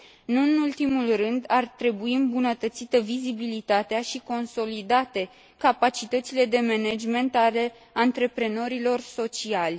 Nu în ultimul rând, ar trebui îmbunătățită vizibilitatea și consolidate capacitățile de management ale antreprenorilor sociali.